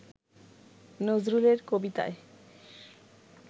নজরুলের কবিতায়